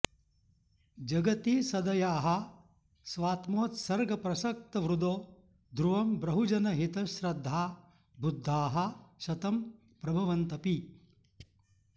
जगति सदयाः स्वात्मोत्सर्गप्रसक्तहृदो ध्रुवं बहुजनहितश्रद्धा बुद्धाः शतं प्रभवन्तपि